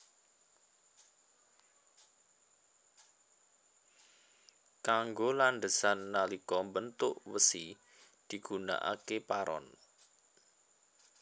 Kanggo landhesan nalika mbentuk wesi digunakaké paron